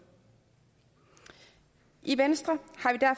i venstre